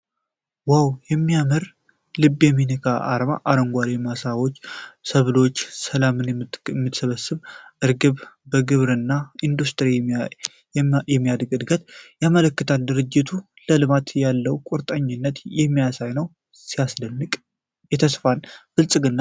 ዋው! የሚያምርና ልብ የሚነካ አርማ። አረንጓዴ ማሳዎች፣ ሰብሎች፣ ሰላምን የምትሰብክ እርግብ፣ ከግብርና ወደ ኢንዱስትሪ የሚደረግን እድገት ያመለክታሉ። ድርጅቱ ለልማት ያለውን ቁርጠኝነት የሚያሳይ ነው። ሲያስደንቅ! ተስፋንና ብልጽግናን ያንጸባርቃል።